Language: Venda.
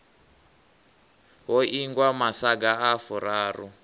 ho ingwa masaga a furaru